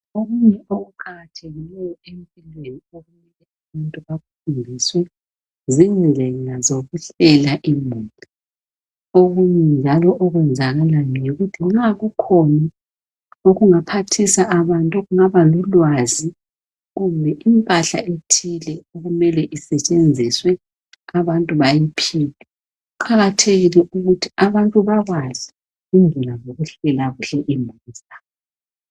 Okunye okuqakathekileyo empilweni okumele umuntu akufundiswe izindlela zokuhlala imuli okunye njalo okwenzakalayo yikuthi nxa kukhona okingaohathisa abantu kungaba lulwazi kumbe impahla ethile okumele usetshenziswe abantu bayiphiwe kuqakathekile ukuthi abantu bakwazi indlela zokuhlala kuhle imuli zabo.